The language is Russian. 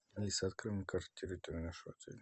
алиса открой мне карту территории нашего отеля